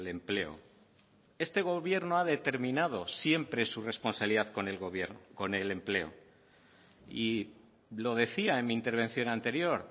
empleo este gobierno ha determinado siempre su responsabilidad con el empleo y lo decía en mi intervención anterior